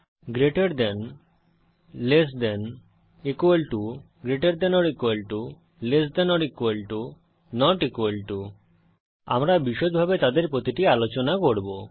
greater than less than 000113 000013 equal to greater than or equal to less than or equal to not equal to আমরা বিষদভাবে তাদের প্রতিটি আলোচনা করব